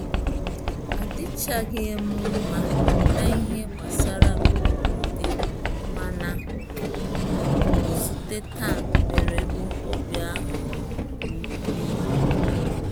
Adịchghị m mma na ihe gbasara mberede, mana nzute taa mere m obi aṅurị nke ukwuu